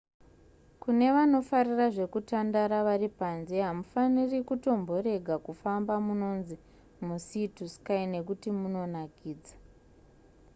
kune vanofarira zvekutandara vari panze hamufaniri kutomborega kufamba nemunonzi musea to sky nekuti munonakidza